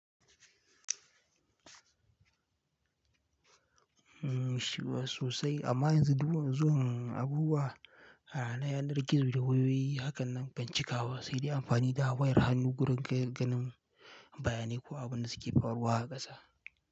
Shiwa sosai amma yanzu duk yanzun abubuwa a yanar gizo da wayoyi hakan nan kan cika wa, sai dai amfani da wayar hannu gurin gane-ganen bayanai ko abun da suke faruwa a ƙasa.